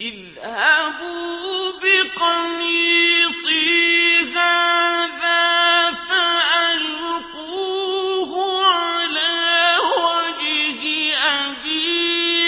اذْهَبُوا بِقَمِيصِي هَٰذَا فَأَلْقُوهُ عَلَىٰ وَجْهِ أَبِي